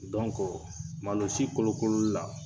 Dɔnku malo si kolo kolo la